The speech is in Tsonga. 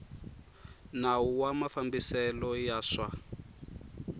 nawu wa mafambiselo ya swa